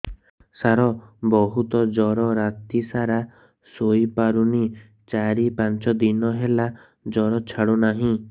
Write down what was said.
ସାର ବହୁତ ଜର ରାତି ସାରା ଶୋଇପାରୁନି ଚାରି ପାଞ୍ଚ ଦିନ ହେଲା ଜର ଛାଡ଼ୁ ନାହିଁ